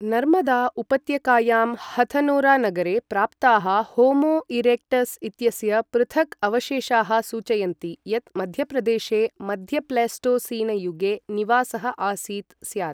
नर्मदा उपत्यकायां हथनोरानगरे प्राप्ताः होमो इरेक्टस् इत्यस्य पृथक् अवशेषाः सूचयन्ति यत् मध्यप्रदेशे मध्यप्लेस्टोसीनयुगे निवासः आसीत् स्यात्